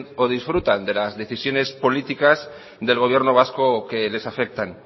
o disfrutan de las decisiones políticas del gobierno vasco que les afectan